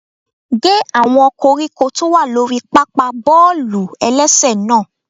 Gé àwọn koríko tó wà lórí pápá bọ́ọ̀lù-ẹlẹ́sẹ̀ náà!